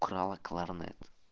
украла кларнет